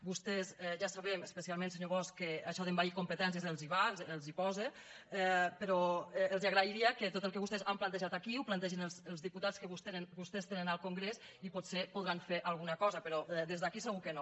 vostès ja ho sabem especialment senyor bosch que això d’envair competències els va els posa però els agrairia que tot el que vostès han plantejat aquí ho plantegessin els diputats que vostès tenen en el congrés i potser hi podran fer alguna cosa però des d’aquí segur que no